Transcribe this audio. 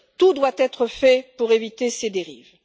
Tout doit être fait pour éviter ces dérives.